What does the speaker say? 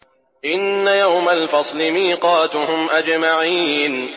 إِنَّ يَوْمَ الْفَصْلِ مِيقَاتُهُمْ أَجْمَعِينَ